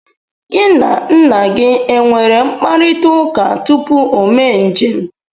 Gị na nna gị enwere mkparịtaụka tupu o mee njem?